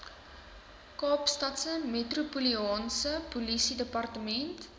kaapstadse metropolitaanse polisiedepartement